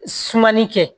Sumani kɛ